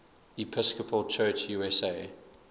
episcopal church usa